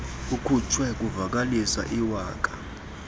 kukhutshwa kuvakaliswe iwaka